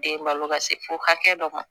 Den balo ka se fo hakɛ dɔ ma